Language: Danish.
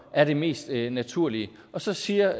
er det mest naturlige så siger